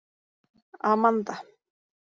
Amanda